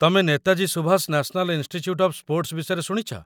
ତମେ Netaji Subhash national institute of sports ବିଷୟରେ ଶୁଣିଛ?